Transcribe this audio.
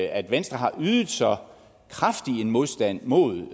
at venstre har ydet så kraftig en modstand mod